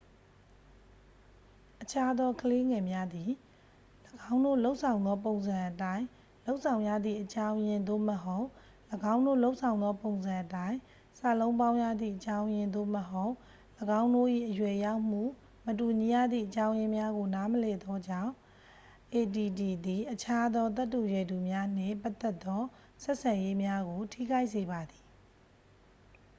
အခြားသောကလေးငယ်များသည် ၎င်းတို့လုပ်ဆောင်သောပုံစံအတိုင်း လုပ်ဆောင်ရသည့်အကြောင်းရင်း သို့မဟုတ် ၎င်းတို့လုပ်ဆောင်သောပုံစံအတိုင်း စာလုံးပေါင်းရသည့်အကြောင်းရင်း သို့မဟုတ် ၎င်းတို့၏ အရွယ်ရောက်မှု မတူညီရသည့်အကြောင်းရင်းများကို နားမလည်သောကြောင့် add သည် အခြားသောသက်တူရွယ်တူများနှင့်ပတ်သက်သော ဆက်ဆံရေးများကို ထိခိုက်စေပါသည်